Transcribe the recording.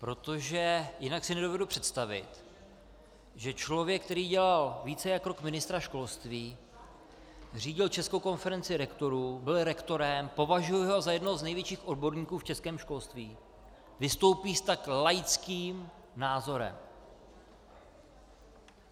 Protože jinak si nedovedu představit, že člověk, který dělal více jak rok ministra školství, řídil Českou konferenci rektorů, byl rektorem, považuji ho za jednoho z největších odborníků v českém školství, vystoupí s tak laickým názorem.